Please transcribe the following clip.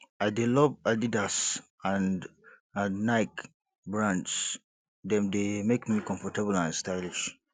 i dey love adidas and and nike brands dem dey make me comfortable and stylish